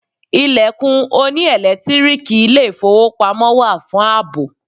Ilẹ̀kùn oní ẹ̀lẹ́tíríìkì ilé ìfowópamọ́ wà fún àbò.